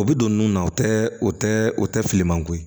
O bɛ don nun na o tɛ o tɛ o tɛ filiman ko ye